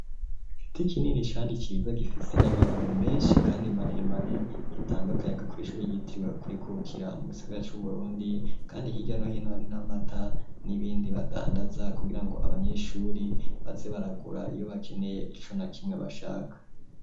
Igiti kinini kandi ciza gifise n'amababi meshi kandi maremare gitanga akayaga kw'ishuri ryitiriwe ukwikukira mu gisigara c'uburundi kandi hirya no hino hari n'amata n'ibindi badandaza kugirango abanyeshuri baze baragura iyo bakeneye ico na kimwe bashaka.